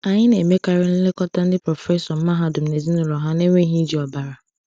Anyị na-emekarị nlekọta ndị prọfesọ mahadum na ezinụlọ ha n’enweghị iji ọbara.